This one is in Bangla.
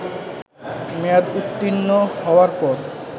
মেয়াদ উত্তীর্ণ হওয়ার পর